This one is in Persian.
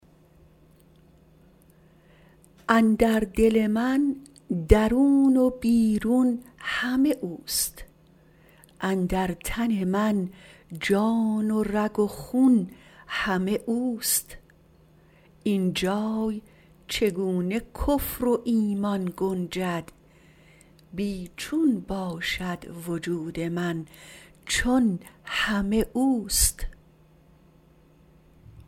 اندر دل من درون و بیرون همه اوست اندر تن من جان و رگ و خون همه اوست اینجای چگونه کفر و ایمان گنجد بی چون باشد وجود من چون همه اوست